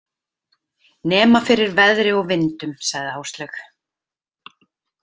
Nema fyrir veðri og vindum, sagði Áslaug.